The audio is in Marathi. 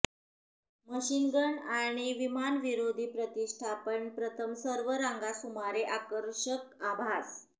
मशीन गन आणि विमानविरोधी प्रतिष्ठापन प्रथम सर्व रांगा सुमारे आकर्षक आभास